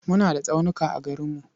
Muna da tsaunuka a garinmu.